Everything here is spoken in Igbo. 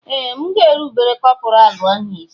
Ee! M ga-erubere kọpọraalụ isí.